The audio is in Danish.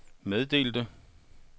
meddelte